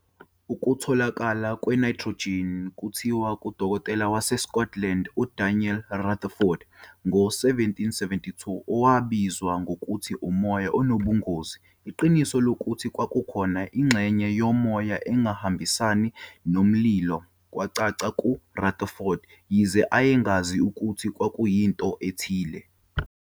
Ukutholakala kwe-nitrogen kuthiwa kudokotela waseScotland uDaniel Rutherford ngo-1772, owabiza ngokuthi umoya onobungozi. Iqiniso lokuthi kwakukhona ingxenye yomoya engahambisani nomlilo kwacaca kuRutherford, yize ayengazi ukuthi kwakuyinto ethile.